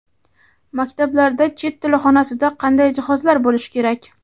Maktablarda chet tili xonasida qanday jihozlar bo‘lishi kerak?.